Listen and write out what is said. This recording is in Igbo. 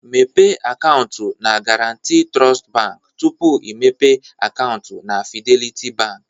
Mepee akaụntụ na Garanti Trust Bank tupu imepe akaụntụ na Fidelity Bank